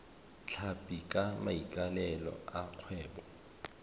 tlhapi ka maikaelelo a kgwebo